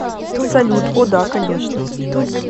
салют о да конечно